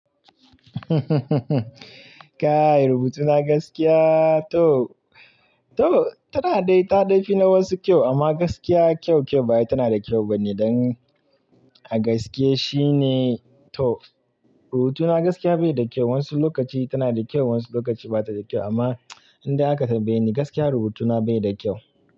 Kai, rubutuna gaskiya to, to tana dai ta dai fi na wasu kyau amma gaskiya kyau kyau bawai tana da kyau bane. Don a gaske shine to rubutuna gaskiya bai da kyau. Wasu lokaci tana da kyau wasu lokaci bata da kyau amma indai aka tambaye ni gaskiya rubutuna bai da kyau.